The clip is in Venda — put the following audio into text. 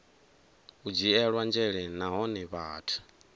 u dzhielwa nzhele nahone vhathu